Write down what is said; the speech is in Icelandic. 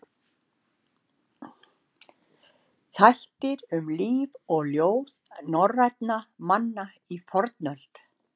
Þættir um líf og ljóð norrænna manna í fornöld.